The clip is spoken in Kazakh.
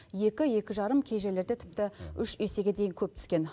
екі екі жарым кей жерлерде тіпті үш есеге дейін көп түскен